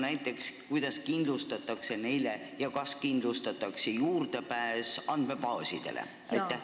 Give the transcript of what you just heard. Näiteks kuidas neile kindlustatakse ja kas üldse kindlustatakse juurdepääs andmebaasidele?